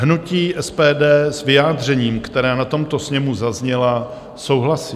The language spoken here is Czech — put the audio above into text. Hnutí SPD s vyjádřeními, která na tomto sněmu zazněla, souhlasí.